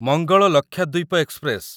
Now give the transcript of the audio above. Mangal Lakshadweep express